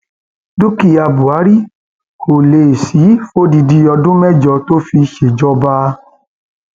dúkìá buhari um kò lè sí i fódìdì ọdún mẹjọ tó fi um ṣèjọba